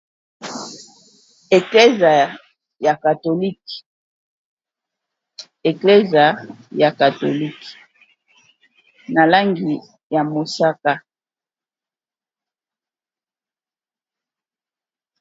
Eklesa ya katolike na langi ya mosaka.